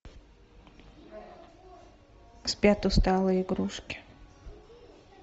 спят усталые игрушки